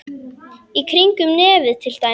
Í kringum nefið til dæmis.